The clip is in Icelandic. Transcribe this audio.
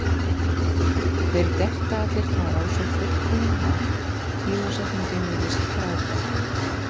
Þeir detta allir þar á svo fullkominn hátt, tímasetningin virðist frábær.